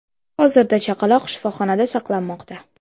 Hozirda chaqaloq shifoxonada saqlanmoqda.